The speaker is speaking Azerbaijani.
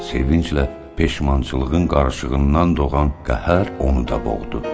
Sevinclə peşmançılığın qarışığından doğan qəhər onu da boğdu.